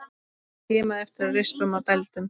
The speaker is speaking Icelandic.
Skimaðu eftir rispum og dældum.